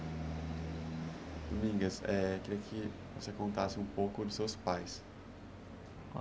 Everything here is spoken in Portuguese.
Domingas, é queria que você contasse um pouco de seus pais.